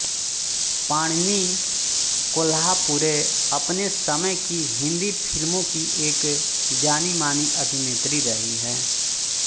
पद्मिनी कोल्हापुरे अपने समय की हिन्दी फिल्मों की एक जानीमानी अभिनेत्री रही हैं